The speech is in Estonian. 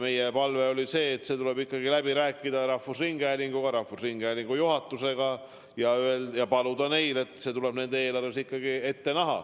Meie seisukoht oli see, et see tuleb läbi rääkida rahvusringhäälingu juhatusega ja paluda neil see oma eelarves ikkagi ette näha.